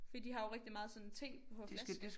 For de har jo rigtig meget sådan te på flaske